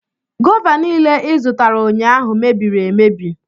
Gova niile ịzụtara ụnyaahụ mebiri emebi.